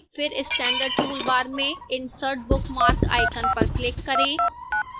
फिर standard toolbar में insert bookmark icon पर click करें